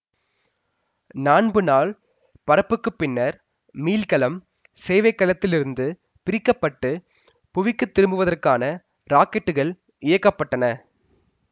நான்பு நாள் பறப்புக்குப் பின்னர் மீள்கலம் சேவைக் கலத்தில் இருந்து பிரிக்க பட்டு புவிக்குத் திரும்புவதற்கான ராக்கெட்டுகள் இயக்க பட்டன